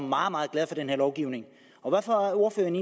meget meget glad for den her lovgivning og hvorfor er ordføreren